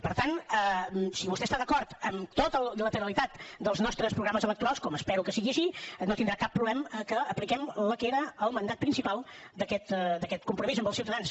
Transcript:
per tant si vostè està d’acord amb tota la literalitat dels nostres programes electorals com espero que sigui així no tindrà cap problema perquè apliquem el que era el mandat principal d’aquest compromís amb els ciutadans